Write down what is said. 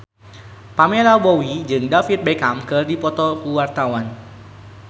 Pamela Bowie jeung David Beckham keur dipoto ku wartawan